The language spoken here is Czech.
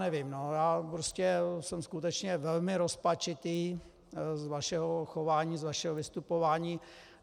Nevím, já jsem skutečně velmi rozpačitý z vašeho chování, z vašeho vystupování.